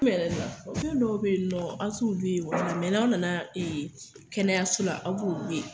Fɛnw dɔw bɛ yen nɔn, aw te olu ye, ni an nana ya, kɛnɛyaso la, aw b'ulu ye.